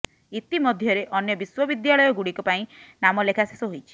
ଇତି ମଧ୍ୟରେ ଅନ୍ୟ ବିଶ୍ୱବିଦ୍ୟାଳୟଗୁଡ଼ିକ ପାଇଁ ନାମଲେଖା ଶେଷ ହୋଇଛି